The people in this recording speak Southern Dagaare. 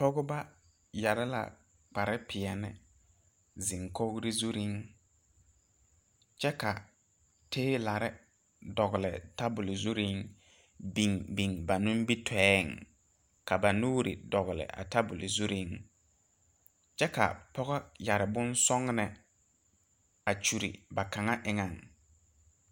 Pɔgeba yɛre la kparepeɛle a zeŋ kogri zuriŋ kyɛ ka toilor dogle table zuriŋ biŋ biŋ nimitɔɛŋ ka ba nuuri dogle kyɛ ka a pɔge yɛre bonsɔgle a kyuri ba kaŋa eŋaŋ.